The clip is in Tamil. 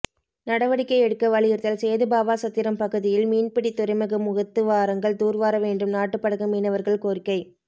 நடவடிக்கை எடுக்க வலியுறுத்தல் சேதுபாவாசத்திரம் பகுதியில் மீன்பிடி துறைமுக முகத்துவாரங்கள் தூர்வார வேண்டும் நாட்டுப்படகு மீனவர்கள் கோரிக்கை